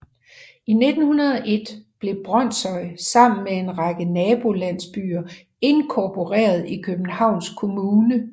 I 1901 blev Brønshøj sammen med en række nabolandsbyer inkorporeret i Københavns kommune